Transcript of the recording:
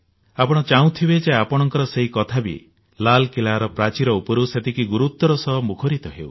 ଆପଣ ଚାହୁଁଥିବେ ଯେ ଆପଣଙ୍କ ସେଇ କଥା ବି ଲାଲକିଲ୍ଲାର ପ୍ରାଚୀର ଉପରୁ ସେତିକି ଗୁରୁତ୍ୱର ସହ ମୁଖରିତ ହେଉ